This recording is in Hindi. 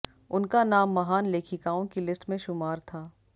उनका नाम महान लेखिकाओं की लिस्ट में शुमार था